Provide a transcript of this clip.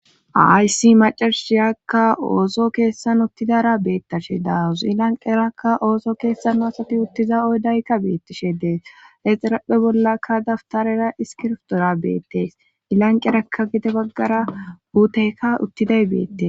Ha isi macarushiyakka ooso keessan uttidara beettashe dauzilanqerakka ooso keessano asati uttiza oydaykka beettishe dees exirapphe bollakka daftarera iskirftoora beettees ilanqerakka gide baggara huuteyka uttiday beettes